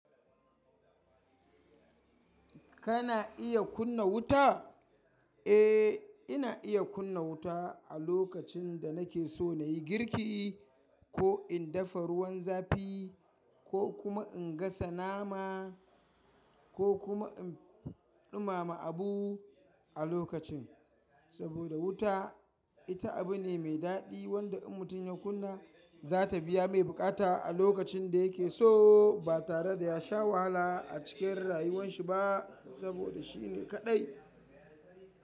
Kana iya kunna wuta? Eh, ina iya kunna wuta a lokacin da nake so na yi girki ko in dafa ruwan zafi ko kuma in gasa nama ko kuma in ɗumama abu a lokacin. Saboda wuta ita abu ne mai daɗi wanda in mutum ya kunna za ta biya mai buƙata a lokacin da yake so ba tare da ya sha wahala a cikin rayuwan shi ba saboda shi ne kaɗai.